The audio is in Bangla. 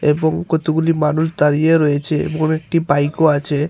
এবং কতগুলি মানুষ দাঁড়িয়ে রয়েছে এমন একটি বাইকও আছে।